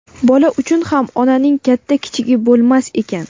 Bola uchun ham onaning katta-kichigi bo‘lmas ekan.